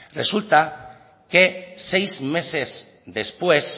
resulta que seis meses después